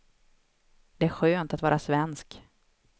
Det är skönt att vara svensk.